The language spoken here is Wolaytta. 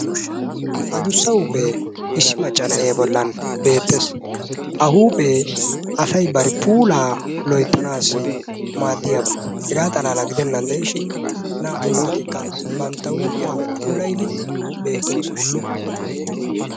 Addussa huuphphe issi macca naa'e bollan beettees. Ha huuphphe asay bari puula loyttanassi maaddiyaaba. Hega xalaala gidennan de'ishin naa"u naatikka bantta huphphiya puulayddi beettoosona.